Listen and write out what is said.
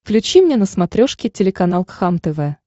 включи мне на смотрешке телеканал кхлм тв